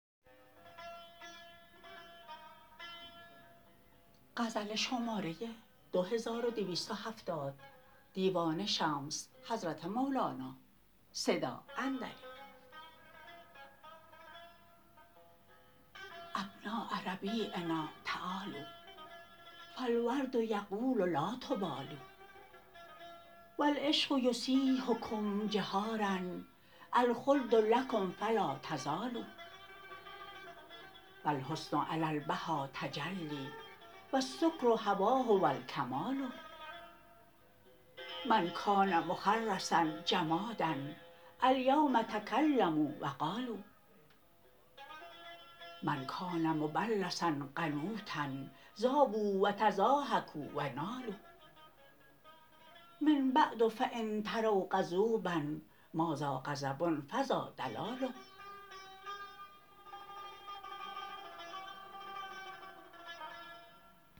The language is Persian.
ابناء ربیعنا تعالوا فالورد یقول لا تبالوا و العشق یصیحکم جهارا الخلد لکم فلا تزالوا و الحسن علی البها تجلی و السکر حواه و الکمال من کان مخرسا جمادا الیوم تکلموا و قالوا من کان مبلسا قنوطا ذابوا و تضاحکوا و نالوا من بعد فان تروا غضوبا ماذا غضب فذا دلال